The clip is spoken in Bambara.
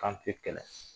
Kan te kɛlɛ